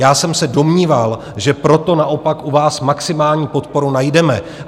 Já jsem se domníval, že proto naopak u vás maximální podporu najdeme.